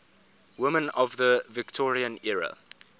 women of the victorian era